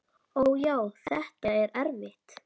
Ó, já, þetta er erfitt.